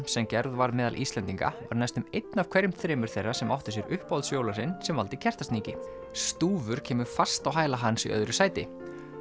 sem gerð var meðal Íslendinga var næstum einn af hverjum þremur þeirra sem áttu sér uppáhalds jólasvein sem valdi Kertasníki stúfur kemur fast á hæla hans í öðru sæti